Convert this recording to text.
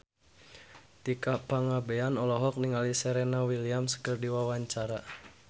Tika Pangabean olohok ningali Serena Williams keur diwawancara